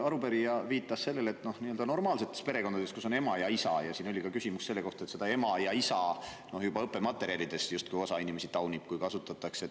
Arupärija viitas normaalsetele perekondadele, kus on ema ja isa, ja siin oli küsimus ka selle kohta, et kui õppematerjalides kasutatakse sõnu "ema" ja "isa", siis osa inimesi seda justkui taunib.